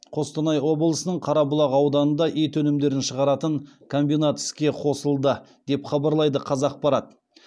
қостанай облысының қарабұлақ ауданында ет өнімдерін шығаратын комбинат іске қосылды деп хабарлайды қазақпарат